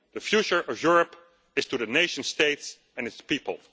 future. The future of Europe is to the nation states and its people.